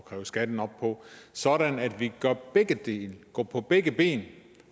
kræve skatten op på sådan at vi gør begge dele går på begge ben